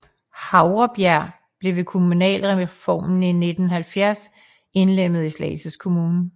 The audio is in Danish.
Havrebjerg blev ved kommunalreformen i 1970 indlemmet i Slagelse Kommune